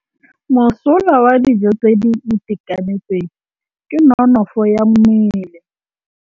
Mosola wa dijô tse di itekanetseng ke nonôfô ya mmele.